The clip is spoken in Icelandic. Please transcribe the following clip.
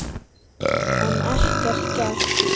En ekkert gekk.